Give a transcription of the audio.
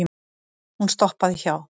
Hún stoppaði hjá